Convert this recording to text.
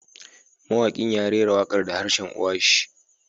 Mawakin ya rera wakar da harshen uwa shi